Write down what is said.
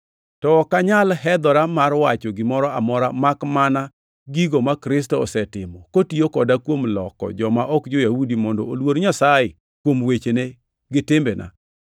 To ok anyal hedhora mar wacho gimoro amora, makmana gigo ma Kristo osetimo kotiyo koda kuom loko joma ok jo-Yahudi mondo oluor Nyasaye, kuom wechena gi timbena,